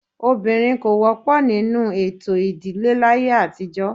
Obìnrin kò wọ́pọ̀ nínú ètò ìdílé láyé àtijọ́.